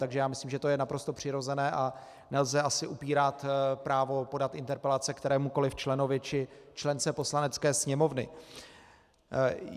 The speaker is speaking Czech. Takže já myslím, že to je naprosto přirozené a nelze asi upírat právo podat interpelace kterémukoliv členovi či člence Poslanecké sněmovny.